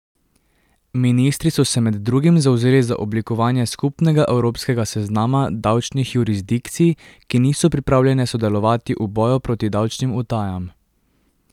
Ministri so se med drugim zavzeli za oblikovanje skupnega evropskega seznama davčnih jurisdikcij, ki niso pripravljene sodelovati v boju proti davčnim utajam.